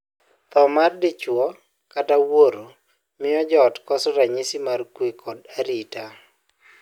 Thoo mar dichwo kata wuoro miyo joot koso ranyisi mar kwe kod arita.